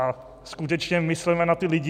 A skutečně mysleme na ty lidi.